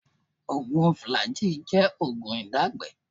Oògùn fùlàjíì jẹ́ oògùn ìdágbẹ́ẹ̀ẹ́